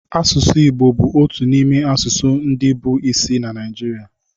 Asụsụ Igbo bụ otu n'ime asụsụ ndị bụ isi na Naịjirịa